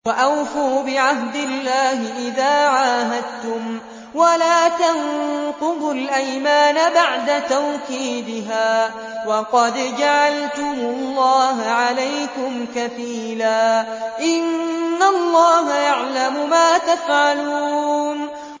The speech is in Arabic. وَأَوْفُوا بِعَهْدِ اللَّهِ إِذَا عَاهَدتُّمْ وَلَا تَنقُضُوا الْأَيْمَانَ بَعْدَ تَوْكِيدِهَا وَقَدْ جَعَلْتُمُ اللَّهَ عَلَيْكُمْ كَفِيلًا ۚ إِنَّ اللَّهَ يَعْلَمُ مَا تَفْعَلُونَ